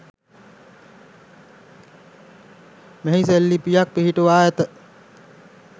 මෙහි සෙල්ලිප්යක් පිහිටුවා ඇත.